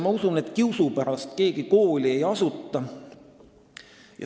Ma usun, et kiusu pärast keegi kooli ei asuta.